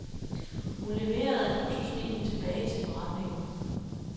Hun leverede luksusvinen tilbage til forretningen.